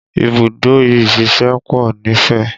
Ibùdó ìsẹ̀se pọ̀ nífẹ̀